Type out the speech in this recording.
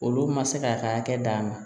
Olu man se k'a ka hakɛ d'a ma